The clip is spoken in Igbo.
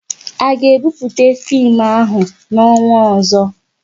A ga ebupute fim ahụ n'ọnwa ọzọ?